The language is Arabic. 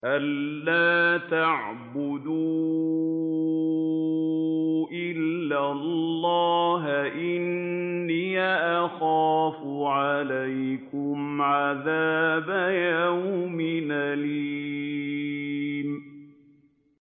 أَن لَّا تَعْبُدُوا إِلَّا اللَّهَ ۖ إِنِّي أَخَافُ عَلَيْكُمْ عَذَابَ يَوْمٍ أَلِيمٍ